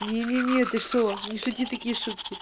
не не не ты что не шути такие шутки